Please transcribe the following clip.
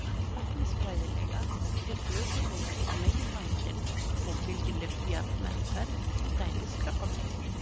Læknisfræðilega er flökurleiki einn meginvandinn sem fylgir lyfjameðferð, til dæmis við krabbameini.